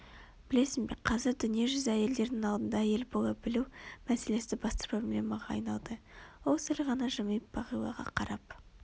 білесің бе қазір дүние жүзі әйелдерінің алдында әйел бола білу мәселесі басты проблемаға айналды ол сәл ғана жымиып бағилаға қарап